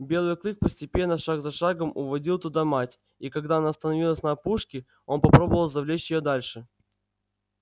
белый клык постепенно шаг за шагом уводил туда мать и когда она остановилась на опушке он попробовал завлечь её дальше